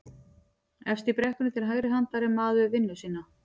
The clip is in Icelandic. Efst í brekkunni til hægri handar er maður við vinnu sína